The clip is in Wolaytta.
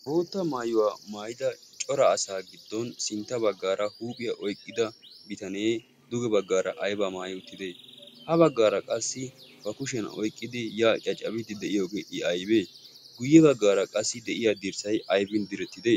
bootta maayuwaa maayida cora asaa giddon sintta baggaara huuphiyaa oyqqida bitanee duge baggaara aybaa maayi uttite ha baggaara qassi ba kushiyan oyqqidi yaaqiya cabiidi deyiyoogee i aybee guyye baggaara qassi deyiya dirssay ayfin direttide?